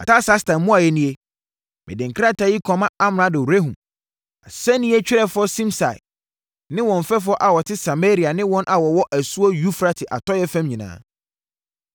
Artasasta mmuaeɛ nie: Mede krataa yi kɔma amrado Rehum, asɛnniiɛ twerɛfoɔ Simsai ne wɔn mfɛfoɔ a wɔte Samaria ne wɔn a wɔwɔ asuo Eufrate atɔeɛ fam nyinaa.